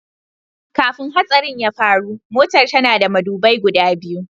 Kafin hatsarin ya faru, Motar tana da madubai guda biyu.